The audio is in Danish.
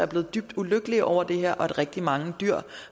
dybt ulykkelige over det her og at rigtig mange dyr